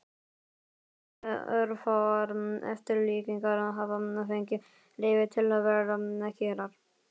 En örfáar eftirlíkingar hafa fengið leyfi til að vera kyrrar.